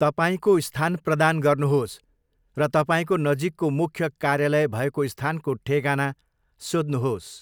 तपाईँको स्थान प्रदान गर्नुहोस् र तपाईँको नजिकको मुख्य कार्यालय भएको स्थानको ठेगाना सोध्नुहोस्।